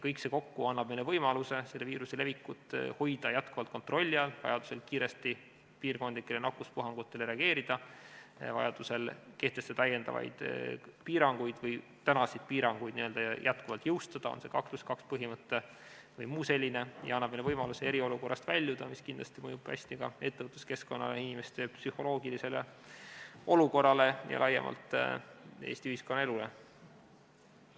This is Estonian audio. Kõik see kokku annab meile võimaluse selle viiruse levikut hoida jätkuvalt kontrolli all, vajaduse korral kiiresti piirkondlikele nakkuspuhangutele reageerida, kehtestada täiendavaid piiranguid või tänaseid piiranguid jätkuvalt jõus hoida, on see 2 + 2 põhimõte vms, ja annab meile võimaluse eriolukorrast väljuda, mis kindlasti mõjub hästi ka ettevõtluskeskkonnale, inimeste psühholoogilisele olukorrale ja laiemalt Eesti ühiskonnaelule.